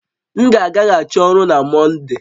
M ga agaghachi ọrụ na Mọnde